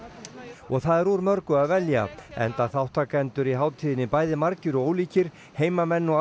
og það er úr mörgu að velja enda þátttakendur á hátíðinni bæði margir og ólíkir heimamenn og